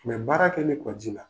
Mais baara kɛli kɔ ji la